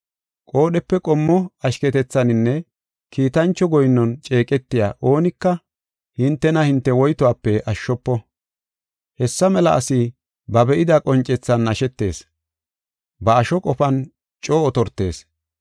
Qoodhepe qommo ashketethaninne kiitancho goyinnon ceeqetiya oonika hintena hinte woytuwape ashshofo. Hessa mela asi ba be7ida qoncethan nashetishe ba asho qofan coo otortees.